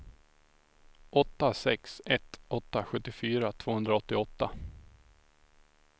åtta sex ett åtta sjuttiofyra tvåhundraåttioåtta